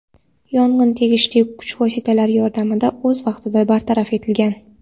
Yong‘in tegishli kuch vositalar yordamida o‘z vaqtida bartaraf etilgan.